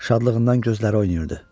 Şadlığından gözləri oynayırdı.